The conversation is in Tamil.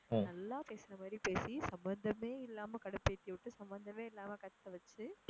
நல்லா பேசுற மாதிரி பேசி சம்மதமே இல்லாம கடுப்பு ஏத்தி விட்டு சம்பதமே இல்லாம கத்த வச்சி